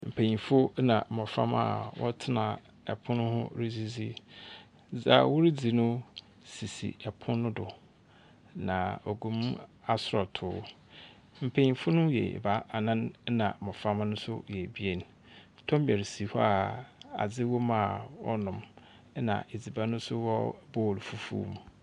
Mpayinfo ena mmɔframa wɔtena ɛpono ho redzidzi. Dza wore dzi no sisi ɛpon no do na ogum asrɔtoo. Mpayinfo no yɛ ebaanan ena mmɔframa no yɛ ebien. Tomeresi hɔ a adzi wom a wɔ nom ena edziban nso wɔ bool fufuw mu.